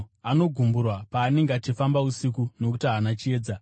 Anogumburwa paanenge achifamba usiku, nokuti haana chiedza.”